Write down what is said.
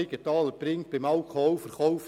Siegenthaler nennt das Beispiel Alkoholverkauf;